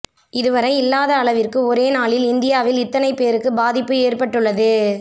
இதுவரை இல்லாத அளவிற்கு ஒரே நாளில் இந்தியாவில் இத்தனை பேருக்கு பாதிப்பு ஏற்பட்டுள்ளது